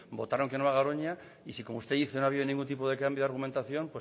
votaron que no a garoña y si como usted dice no ha habido ningún tipo de cambio argumentación